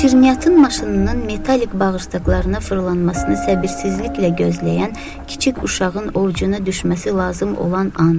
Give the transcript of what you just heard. Şirniyyatın maşınının metalik bağırsaqlarına fırlanmasını səbirsizliklə gözləyən kiçik uşağın ovucuna düşməsi lazım olan an.